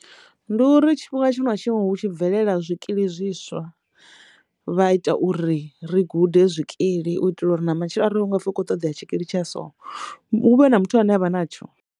Ndi uri tshifhinga tsho nwa tshiṋwe hu tshi bvelela zwikili zwiswa vha ita uri ri gude zwikili u itela uri na matshelo arali hu ngafhi u kho ṱoḓea tshikili tsha so hu vhe na muthu ane avha natsho.